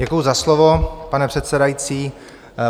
Děkuju za slovo, pane předsedající.